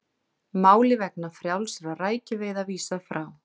Máli vegna frjálsra rækjuveiða vísað frá